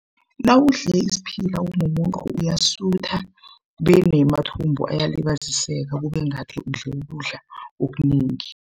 Nawudle isiphila umumuntu uyasutha benamathumbu ayalibaziseka kube ngathi udle ukudla okunengi.